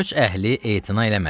Köç əhli etina eləmədi.